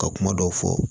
Ka kuma dɔw fɔ